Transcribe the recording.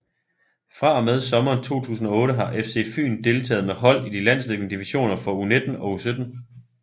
Fra og med sommeren 2008 har FC FYN deltaget med hold i de landsdækkende divisioner for U19 og U17